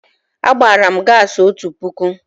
Agbara m gaasị otu puku.